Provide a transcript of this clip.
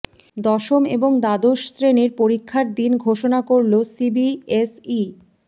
দশম এবং দ্বাদশ শ্রেণির পরীক্ষার দিন ঘোষণা করল সিবিএসই